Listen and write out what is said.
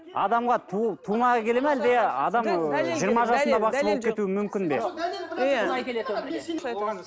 адамға тума келе ме әлде адам бақсы болып кету мүмкін бе